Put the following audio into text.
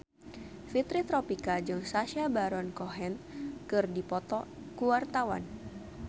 Fitri Tropika jeung Sacha Baron Cohen keur dipoto ku wartawan